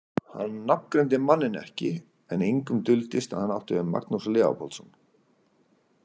Hann nafngreindi manninn ekki en engum duldist að hann átti við Magnús Leópoldsson.